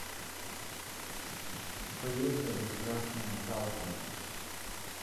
поехали красная талка